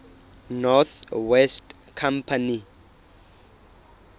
north west company